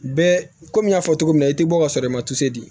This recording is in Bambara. Bɛɛ komi n y'a fɔ cogo min na i tɛ bɔ ka sɔrɔ i ma di